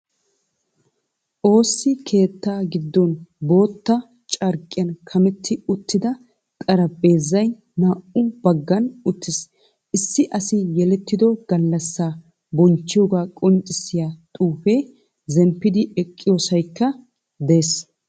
Ossi keettaa giddon bootta carqqiyan kametti uttida xarphpheezay naa"u baggan uttiis. Issi asi yelttiddo gallassaa bonchchiyoga qonccissiya xuufee, zemppidi eqqiyosaykka de'ees.